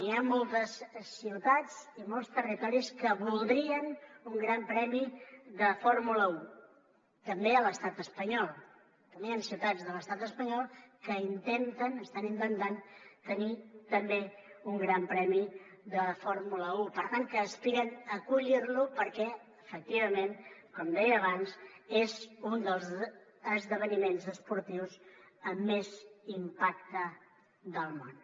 hi ha moltes ciutats i molts territoris que voldrien un gran premi de fórmula un també a l’estat espanyol també hi han ciutats de l’estat espanyol que intenten tenir també un gran premi de fórmula un i per tant que aspiren a acollir lo perquè efectivament com deia abans és un dels esdeveniments esportius amb més impacte del món